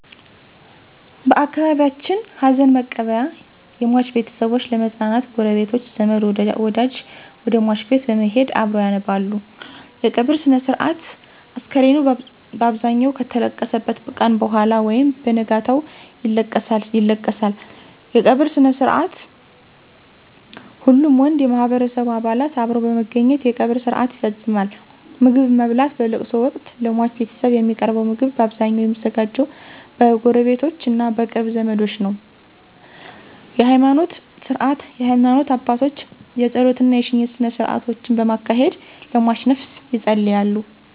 በአካባቢየችን ሀዘንመቀበያ የሟች ቤተሰቦች ለመጽናናት ጉረቤቶች፣ ዘመድወደጅ ወደሟች ቤት በመሄድ አብረዉ ያነባሉ _የቀብር ስነስርአት፣ አስከሬኑ ባብዛኘዉ ከተለቀሰበት ቀነ በኋላ ወይም በነጋታው ይለቀሳል ይለቀሳል_የቀበርስነስርአትሁሉም ወንድ የማህበረሰቡ አባላት አብረዉ በመገኘት የቀብር ስርአት ይፈጸማል _ምግብማብላት በለቅሶወቅት ለሟች ቤተሰብ የሚቀርበዉ ምግብ ባብዛኘዉ የሚዘጋጀዉ በጉረቤቶቾ እና በቅርብ ዘመዶች ነዉ ነዉ_የሀይማኖት ስነስርዓት የሀይማኖት አባቶች የጾለት እና የሽኝት ስነስርአቶችን በማካሄድ ለሟችነፍስ የጸልያሉ።